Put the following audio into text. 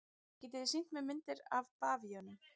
Getið þið sýnt mér myndir af bavíönum?